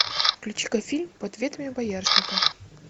включи ка фильм под ветвями боярышника